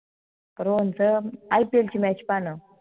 रोहनच ipl ची match पाहन